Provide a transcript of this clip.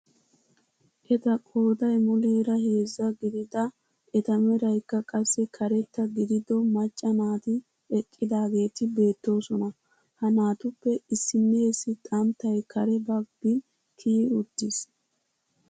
Eta qooday muleera heezzaa gidida eta meraikka qassi karetta gidido macca naati eqqidaageti beettoosona. ha naatuppe issinnessi xanttay kare baggi kiyi uttiis.